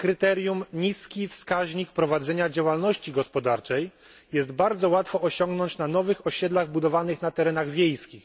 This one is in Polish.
kryterium niski wskaźnik prowadzenia działalności gospodarczej jest bardzo łatwo osiągnąć na nowych osiedlach budowanych na terenach wiejskich.